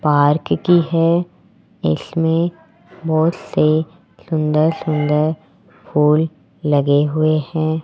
Park की है इसमें बहुत से सुंदर सुंदर फूल लगे हुए हैं।